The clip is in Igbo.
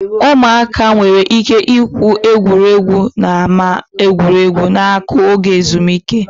Ụmụaka nwere ike igwu egwu n'ámá egwuregwu na-akụ oge ezumike ha.